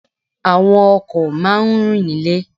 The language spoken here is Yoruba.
Àwọn ọkò máa ń rìn nílè